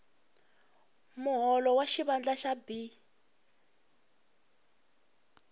muholo wa xivandla xa b